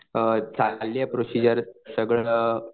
अ चाललीये प्रोसिजर सगळं